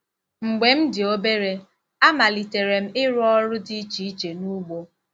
Mgbe m dị obere, amalitere m ịrụ ọrụ dị iche iche n'ugbo.